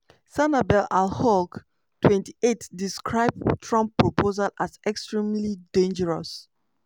sanabel alghoul 28 describe trump proposals as "extremely dangerous".